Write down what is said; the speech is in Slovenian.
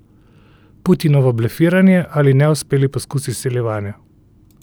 Putinovo blefiranje ali neuspeli poskus izsiljevanja?